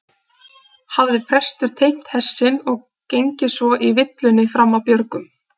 Hafði prestur teymt hest sinn og gengið svo í villunni fram af björgum.